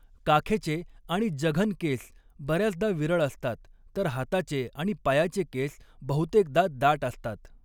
काखेचे आणि जघन केस बर्याचदा विरळ असतात, तर हाताचे आणि पायाचे केस बहुतेकदा दाट असतात.